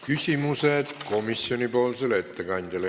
Küsimused komisjoni ettekandjale.